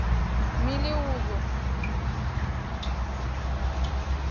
мелеузу